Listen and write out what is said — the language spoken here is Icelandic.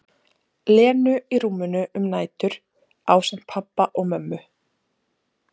Lenu í rúminu um nætur, ásamt pabba og mömmu.